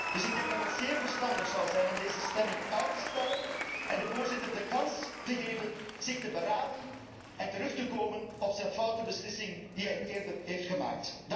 Dus ik denk dat het zeer verstandig zou zijn om deze stemming uit te stellen en de Voorzitter de kans te geven zich te beraden en terug te komen op zijn foute beslissing die hij eerder heeft genomen.